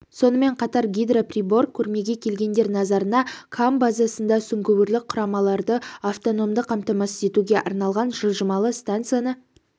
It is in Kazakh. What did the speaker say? сонымен қатар гидроприбор көрмеге келгендер назарына кам базасында сүңгуірлік құламаларды автономды қамтамасыз етуге арналған жылжымалы станцияны